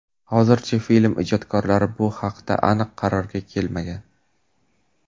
Hozircha film ijodkorlari bu haqda aniq qarorga kelmagan.